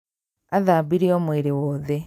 Athambirio mwĩrĩ wothe